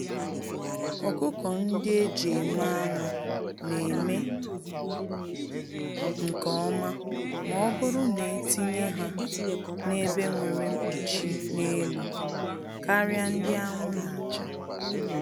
Ọkụkọ-ndị-eji-eme-anụ neme nke ọma mọbụrụ netinye ha n'ebe nwere nkpuchi n'elu, karịa ndị anwụ nacha.